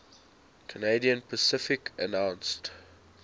canadian pacific announced